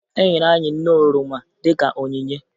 Enyere anyị nnu oroma dịka onyinye